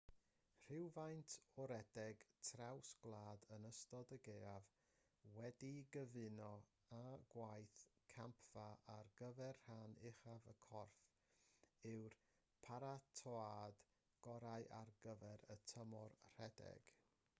rhywfaint o redeg traws gwlad yn ystod y gaeaf wedi'i gyfuno â gwaith campfa ar gyfer rhan uchaf y corff yw'r paratoad gorau ar gyfer y tymor rhedeg